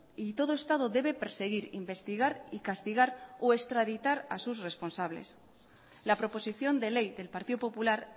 y todo estado debe perseguir investigar y castigar o extraditar a sus responsables la proposición de ley del partido popular